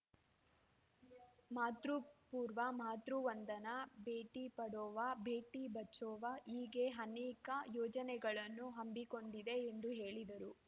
ಮಾತೃಪೂರ್ವ ಮಾತೃವಂದನಾ ಭೇಟಿ ಪಡಾವೋವ ಭೇಟಿ ಬಚಾವೋವ ಹೀಗೆ ಅನೇಕ ಯೋಜನೆಗಳನ್ನು ಹಮ್ಮಿಕೊಂಡಿದೆ ಎಂದು ಹೇಳಿದರು